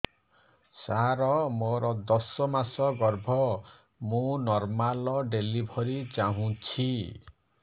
ସାର ମୋର ଦଶ ମାସ ଗର୍ଭ ମୁ ନର୍ମାଲ ଡେଲିଭରୀ ଚାହୁଁଛି